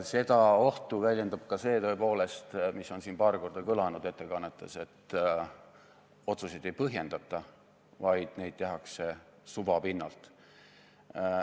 Seda ohtu väljendab ka see, tõepoolest, mis on siin paar korda ettekannetes kõlanud, et otsuseid ei põhjendata, vaid neid tehakse suva pinnalt.